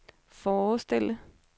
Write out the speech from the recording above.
forestille